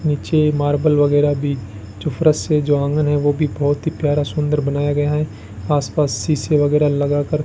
नीचे मार्बल वगैरा भी जो फरश है जो आंगन है वो भी बहोत ही प्यारा सुंदर बनाया गया है आस पास शीशे वगैरा लगाकर --